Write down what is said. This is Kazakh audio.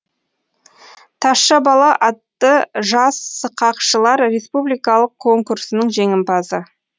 тазша бала атты жас сықақшылар республикалық конкурсының жеңімпазы